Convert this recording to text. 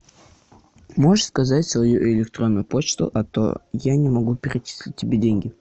можешь сказать свою электронную почту а то я не могу перечислить тебе деньги